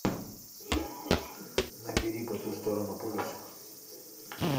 набери по ту сторону полюса